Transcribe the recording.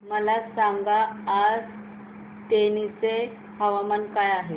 मला सांगा आज तेनी चे तापमान काय आहे